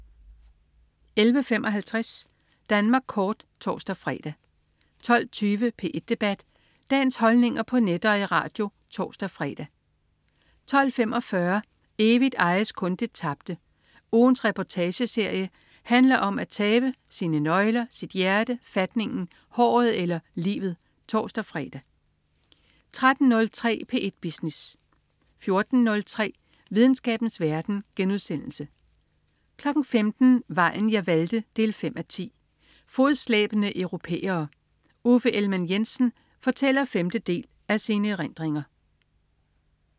11.55 Danmark kort (tors-fre) 12.20 P1 debat. Dagens holdninger på net og i radio (tors-fre) 12.45 Evigt ejes kun det tabte. Ugens reportageserie handler om at tabe - sine nøgler, sit hjerte, fatningen, håret eller livet (tors-fre) 13.03 P1 Business 14.03 Videnskabens verden* 15.00 Vejen jeg valgte 5:10. Fodslæbende europæere. Uffe Ellemann-Jensen fortæller femte del af sine erindringer